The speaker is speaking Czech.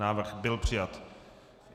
Návrh byl přijat.